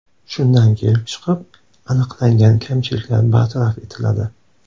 Shundan kelib chiqib, aniqlangan kamchiliklar bartaraf etiladi.